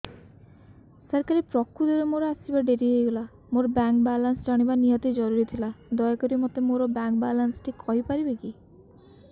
ସାର କାଲି ପ୍ରକୃତରେ ମୋର ଆସିବା ଡେରି ହେଇଗଲା ମୋର ବ୍ୟାଙ୍କ ବାଲାନ୍ସ ଜାଣିବା ନିହାତି ଜରୁରୀ ଥିଲା ଦୟାକରି ମୋତେ ମୋର ବାଲାନ୍ସ ଟି କହିପାରିବେକି